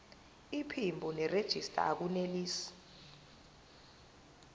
iphimbo nerejista akunelisi